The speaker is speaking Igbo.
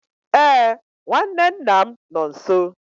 Ee, nwanne nna m nọ nso.